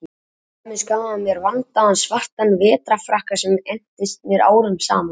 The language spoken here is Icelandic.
Til dæmis gaf hann mér vandaðan svartan vetrarfrakka sem entist mér árum saman.